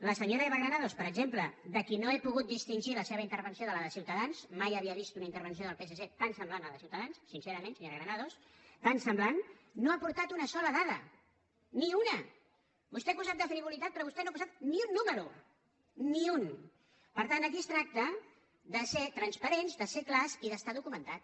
la senyora eva granados per exemple de qui no he pogut distingir la seva intervenció de la de ciutadans mai havia vist una intervenció del psc tan semblant a la de ciutadans sincerament senyora granados tan semblant no ha aportat una sola dada ni una vostè ens ha acusat de frivolitat però vostè no ha posat ni un número ni un per tant aquí es tracta de ser transparents de ser clars i d’estar documentat